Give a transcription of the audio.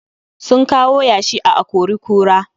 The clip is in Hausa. Sun kawo yashin a a-kori-kura